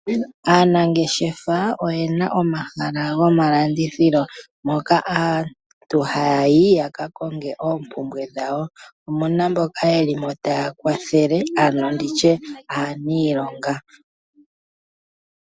Aanangeshefa oyena omahala gomalandithilo moka aantu haya yi yaka konge oopumbwe dhawo, omuna mboka yeli mo taa kwathele ano nditye aaniilonga.